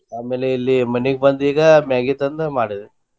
ಆಮೇಲೆ ಇಲ್ಲಿ ಮನೆಗ ಬಂದ ಈಗ Maggi ತಂದ ಮಾಡಿದೆ.